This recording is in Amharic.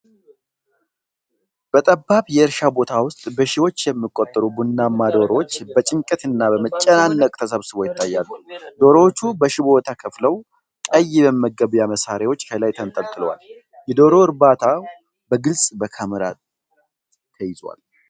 በጠባብ የእርሻ ቦታ ውስጥ በሺዎች የሚቆጠሩ ቡናማ ዶሮዎች በጭንቀት እና በመጨናነቅ ተሰብስበው ይታያሉ። ዶሮዎቹ በሽቦ ተከፍለው፣ ቀይ የመመገቢያ መሳሪያዎች ከላይ ተንጠልጥለዋል፤ የዶሮ እርባታው በግልጽ በካሜራ ተይዟል።